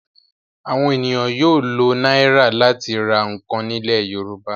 Àwọn ènìyàn yóò lo náírà láti ra nǹkan nílẹ̀ Yorùbá.